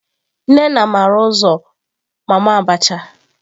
Nnena mara uzo mama abacha.